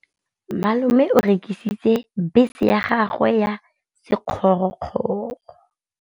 Malome o rekisitse bese ya gagwe ya sekgorokgoro.